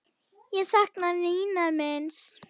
Ég sakna vinar míns.